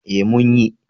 Eh mun yi.